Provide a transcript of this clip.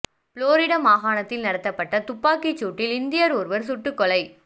Florida மாகாணத்தில் நடத்தப்பட்ட துப்பாக்கிச் சூட்டில் இந்தியர் ஒருவர் சுட்டுக் கொலை